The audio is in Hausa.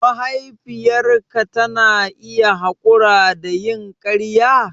Mahaifiyarka tana iya haƙura da yin ƙarya?